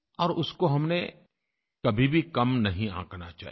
और उसको हमने कभी भी कम नहीं आँकना चाहिए